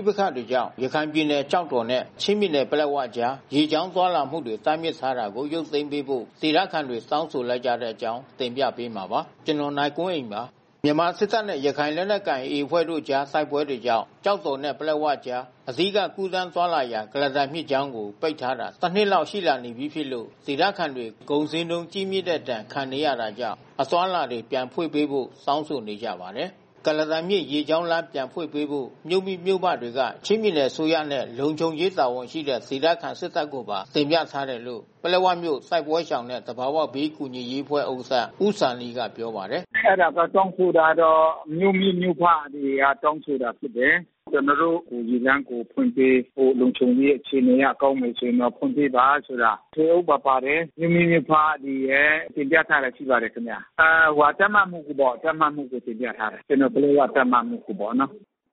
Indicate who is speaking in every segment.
Speaker 1: ိပက္ခတွေကြောင့် ရခိုင်ပြည်နယ်ကျောက်တော်နဲ့ ချင်းပြည်နယ် ပလက်ဝကြား ရေကြောင်းသွားလာမှုတွေ တားမြစ်ထားတာကို ရုပ်သိမ်းပေးဖို့ ဒေသခံတွေ တောင်းဆိုလိုက်ကြတဲ့အကြောင်း တင်ပြပေးမှာပါ။ ဗွီအိုအေမြန်မာပိုင်း သတင်းထောက် ကိုနိုင်ကွန်းအိန်က သတင်းပေးပို့ထားပါတယ်။ မြန်မာစစ်တပ်နဲ့ ရခိုင်လက်နက်ကိုင် AA အဖွဲ့တို့ကြား တိုက်ပွဲတွေကြောင့် ကျောက်တော်နဲ့ ပလက်ဝကြား အဓိက ကူးသန်းသွားလာရာ ကုလားတန်မြစ်ကြောင်းကို ပိတ်ထားတာ တစ်နှစ်လောက် ရှိလာနေပြီဖြစ်လို့ ဒေသခံတွေ ကုန်ဈေးနှုန်းကြီးမြင့်တဲ့ ဒဏ်ခံနေရတာကြောင့် အသွားအလာတွေ ပြန်ဖွင့်ပေးဖို့ တောင်းဆိုနေကြပါတယ်။ ကုလားတန်မြစ် ရေကြောင်းလမ်း ပြန်ဖွင့်ပေးဖို့ မြို့မိ၊ မြို့ဖတွေက ချင်းပြည်နယ်အစိုးရနဲ့ လုံခြုံရေးတာဝန်ရှိတဲ့ ဒေသခံ စစ်တပ်ကိုပါ တင်ပြထားတယ်လို့ ပလက်ဝမြို့ တိုက်ပွဲရှောင်နဲ့ သဘာဝဘေးကူညီရေးအဖွဲ့ ဥက္ကဋ္ဌ ဦးဇာနည်က ပြောပါတယ်။ “အဲဒါတွေတောင်းဆိုတာကတော့ မြို့မိ၊ မြို့ဖတွေ တောင်းဆိုတာဖြစ်တယ်။ ကျနော်တို့
Speaker 2: ရေလမ်းကို ဖွင့်ပေးဖို့ လုံခြုံရေးအခြေအနေအရ ကောင်းမယ်ဆိုရင်တော့ ဖွင့်ပေးပါဆိုတာ... ထွေအုပ်ပါ ပါတယ်။ မြို့မိမြို့ဖတွေရယ် တင်ပြထားတာရှိပါတယ်ခင်ဗျ။ တပ်မမှူးကိုပ
Speaker 1: ေါ့၊ ပလက်ဝ တပ်မမှူးကိုတင်ပြထားတယ်။”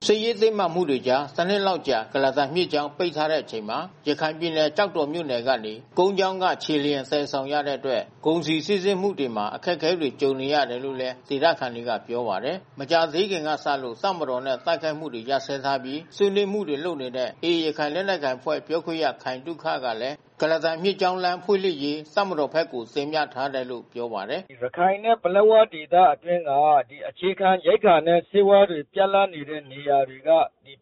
Speaker 1: စစ်ရေးတင်းမာမှုတွေကြား တနှစ်လောက်ကြာ ကုလားတန်မြစ်ကြောင်း ပိတ်ထားရတဲ့အချိန်မှာ ရခိုင်ပြည်နယ် ကျောက်တော်မြို့နယ်ကနေ ကုန်းကြောင်းက ခြေလျင် သယ်ဆောင်ရတဲ့အတွက် ကုန်စည်စီးဆင်းမှုတွေမှာ အခက်အခဲတွေ ကြုံနေရတာလို့လည်း ဒေသခံတွေက ပြောပါတယ်။ မကြာသေးခင်ကစလို့ တပ်မတော်နဲ့ တိုက်ခိုက်မှုတွေ ရပ်စဲထားပြီး ဆွေးနွေးမှုတွေ လုပ်နေတဲ့ AA ရခိုင်လက်နက်ကိုင်အဖွဲ့ ပြောခွင့်ရ ခိုင်သုခကလည်း ကုလားတန်မြစ်ကြောင်း လမ်းဖွင့်လှစ်ရေး တပ်မတော်ဘက်ကို တင်ပြထားတယ်လို့ ပြောပါတယ်။ “ရခိုင်နဲ့ ပလက်ဝဒေသအတွင်း
Speaker 2: က အခြေခံရိက္ခာနဲ့ ဆေးဝါးတွေ ပြတ်လပ်နေတဲ့နေရာတွေက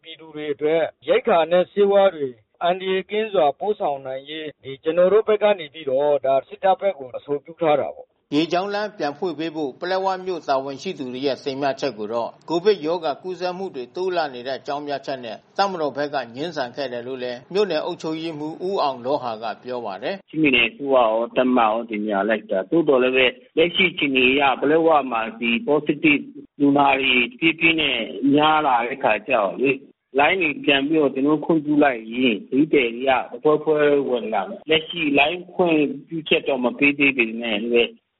Speaker 2: ပြည်သူတွေအတွက် ရိက္ခာနဲ့ ဆေးဝါးတွေ အန္တရာယ်ကင်းစွာ ပို့ဆောင်နိုင်ရေး ကျနော်တို့ဘက်က
Speaker 1: စစ်တပ်ဘက်ကို အဆိုပြုထားတယ်။” ရေလမ်းကြောင်း ပြန်ဖွင့်ပေးဖို့ ပလက်ဝမြို့တာဝန်ရှိသူတွေရဲ့ တင်ပြချက်ကိုတော့ ကိုဗစ်ကပ်ရောဂါကူးစက်မှုတွေ တိုးလာနေတဲ့ အကြောင်းပြချက်နဲ့ တပ်မတော်ဘက်က ငြင်းဆန်ခဲ့တယ်လို့လည်း မြို့နယ်အုပ်ချုပ်ရေးမှူး ဦးအောင်လောဟာက ပြောပါတယ်။ “
Speaker 2: ချင်းပြည်နယ်အစိုးရရော၊ တပ်မရော တင်ပြလိုက်တာ သို့သော်လည်းပဲ လက်ရှိအခြေအနေအရ ပလက်ဝမှာ ဒီ positive လူနာတွေ တဖြည်းဖြည်းနဲ့ များလာတဲ့အခါကျတော့လေ လိုင်းတွေပြန်ပြီးတော့ ကျနော်တို့ ခွင့်ပြုလိုက်ရင် ခရီးသည်တွေက တဖွဲဖွဲဝင်လာမယ်။ လက်ရှိ လိုင်းခွင့်ပြုချက် မပေးသေးပေမဲ့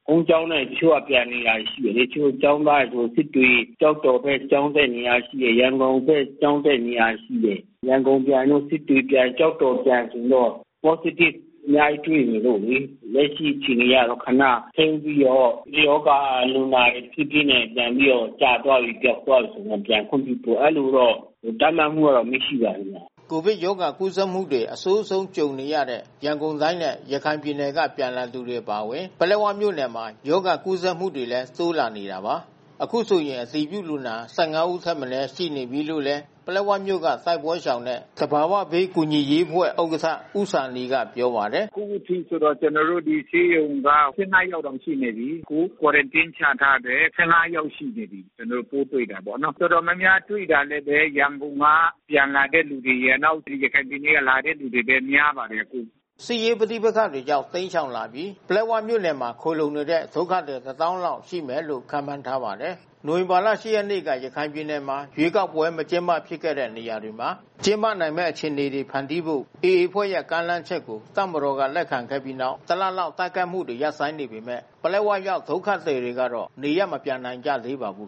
Speaker 2: ကုန်းကြောင်းနဲ့ တချို့ကပြန်နေတာရှိတယ်လေ။ တချို့ကျောင်းသားတွေ၊ စစ်တွေ၊ ကျောက်တော်ဘက် ကျောင်းတက်နေတာ ရှိတယ်။ ရန်ကုန်ဘက် ကျောင်းတက်နေရတာ ရှိတယ်။ ရန်ကုန်ပြန်၊ စစ်တွေပြန်၊ ကျောက်တော်ပြန် ဆိုရင်တော့ positive အများကြီးတွေ့နေလို့လေ။ လက်ရှိအခြေအနေအရတော့ ခဏထိန်းပြီးတော့ ရောဂါလူနာ တဖြည်းဖြည်းနဲ့ ပြန်ပြီးတော့ ကျသွားပြီ၊ ပျောက်သွားပြီဆိုရင် ပြန်ခွင့်ပြုမယ်။ အဲဒီလိုတော့ တပ်မမှူးက အမိန့်ရှိပါတယ် ခင်ဗျ။”
Speaker 1: ကိုဗစ်ရောဂါကူးစက်မှုတွေ အဆိုးဆုံးကြုံနေရတဲ့ ရန်ကုန်တိုင်းနဲ့ ရခိုင်ပြည်နယ်က ပြန်လာသူတွေ အပါအဝင် ပလက်ဝမြို့နယ်မှာ ရောဂါကူးစက်မှုတွေလည်း တိုးလာနေတာပါ။ အခုဆိုရင် အတည်ပြုလူနာ ၁၅ ယောက်ထက်မနည်း ရှိနေပြီလို့လည်း ပလက်ဝမြို့က တိုက်ပွဲရှောင်နဲ့ သဘာဝဘေးကူညီရေးအဖွဲ့ဥက္ကဋ္ဌ ဦးဇာနည်ကပြောပါတယ်။ “အခုထိ ကျနော်တို့ ဒီဆေးရုံက ၁၅ ယောက်တောင်ရှိနေပြီ။ အခု
Speaker 2: Quarantine ချထားတယ်။ ၁၅ ယောက်ရှိနေပြီ။ ကျနော်တို့ ပိုးတွေ့တာပေါ့နော်။ တော်တော်များများတွေ့တာလည်းပဲ ရန်ကုန်က ပြန်လာတဲ့သူတွေရယ်၊ နောက် ရခိုင်ပြည်နယ်က လာတဲ့လူတွေလည်း များပါတယ်။”
Speaker 1: စစ်ရေးပဋိပက္ခတွေကြောင့် တိမ်းရှောင်လာပြီး ပလက်ဝမြို့နယ်မှာ ခိုလှုံနေတဲ့ ဒုက္ခသည် ၁၀,၀၀၀ လောက် ရှိမယ်လို့ ခန့်မှန်းထားပါတယ်။ နိုဝင်ဘာလ ၈ ရက်နေ့က ရခိုင်ပြည်နယ်မှာ ရွေးကောက်ပွဲ မကျင်းပဖြစ်ခဲ့တဲ့ နေရာတွေမှာ ကျင်းပနိုင်မယ့် အခြေအနေတွေ ဖန်တီးဖို့ AA အဖွဲ့ရဲ့ ကမ်းလှမ်းချက်ကို တပ်မတော်က လက်ခံခဲ့ပြီးနောက် ၁ လလောက် တိုက်ခိုက်မှုတွေ ရပ်ဆိုင်းနေပေမဲ့ ပလက်ဝရောက် ဒုက္ခသည်တွေကတော့ နေရပ်မပြန်နိုင်ကြသေးပါဘူး